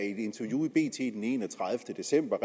i et interview i bt den enogtredivete december